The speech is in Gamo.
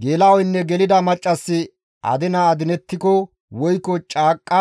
Geela7oynne gelida maccassi adina adinettiko woykko caaqqa